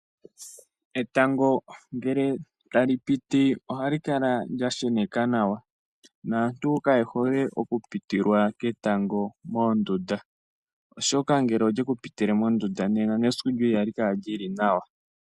Etango ngele tali piti ohali kala lya sheneka nawa, naantu kaye hole okupitilwa ketango mondunda, oshoka ngele olyeku pitile mondunda nena nesiku lyoye ihali kala lyi li nawa.